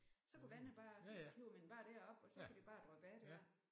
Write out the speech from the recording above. Så kunne vandet bare så hiver man bare derop og så kan det bare dryppe af der